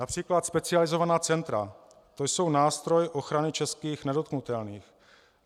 Například specializovaná centra, to jsou nástroje ochrany českých nedotknutelných.